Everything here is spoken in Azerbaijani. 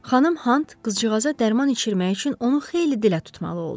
Xanım Hant qızcığaza dərman içirmək üçün onu xeyli dilə tutmalı oldu.